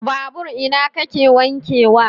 Babur ina kake wanke wa?